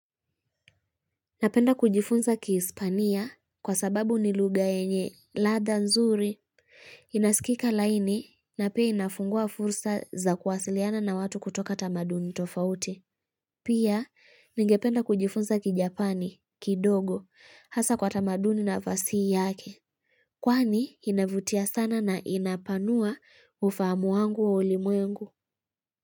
Napenda kujifunza ki Hispania kwa sababu ni lugha yenye ladha nzuri, inaskika laini na pia inafungua fursa za kuwasiliana na watu kutoka tamaduni tofauti. Pia, ningependa kujifunza ki Japani, kidogo, hasa kwa tamaduni na fasihi yake. Kwani, inavutia sana na inapanua ufahamu wangu wa ulimwengu.